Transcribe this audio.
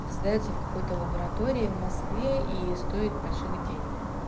это сдаёться в какой-то лаборатории в москве и стоит больших денег